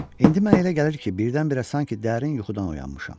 İndi mənə elə gəlir ki, birdən-birə sanki dərin yuxudan oyanmışam.